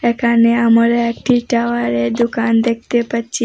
এখানে আমোরা একটি টাওয়ারের দোকান দেখতে পাচ্ছি।